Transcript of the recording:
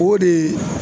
O de